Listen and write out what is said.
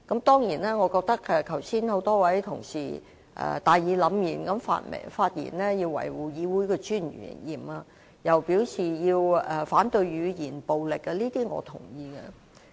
當然，多位同事剛才大義凜然地發言，表示要維護議會的尊嚴，又表示要反對語言暴力，這些我也認同。